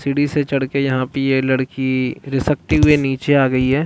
सीढ़ी से चढ़ के यहाँ पे ये लड़की घीसकती हुई यहाँ निचे आ गयी है।